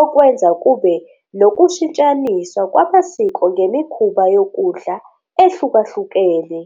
okwenza kube nokushintshaniswa kwamasiko nemikhuba yokudla ehlukahlukene.